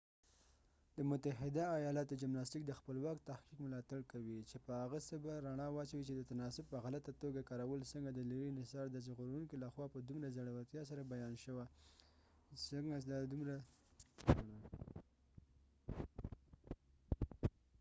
د متحده ایالاتو جمناسټیک د خپلواک تحقیق ملاتړ کوي چې په هغه څه به رڼا واچوي چې د تناسب په غلطه توګه کارول څنګه د لیري نصار د ژغورونکو لخوا په دومره زړورتیا سره بیان شوه څنګه دا د دومره اوږدې مودې لپاره پټه پاتې شوه او هر اړین او مناسب بدلونونه مني